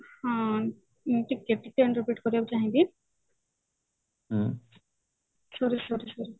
ହଁ ଟିକେ ଟିକେ interpret କରିବାକୁ ଚାହିଁବି sorry sorry sorry